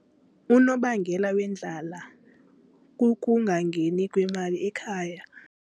Unobangela wendlala kukungangeni kwemali ekhaya.